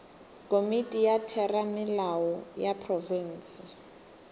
komiti ya theramelao ya profense